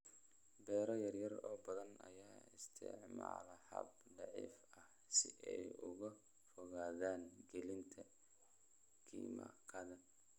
Beero yaryar oo badan ayaa isticmaala habab dabiici ah si ay uga fogaadaan gelinta kiimikada.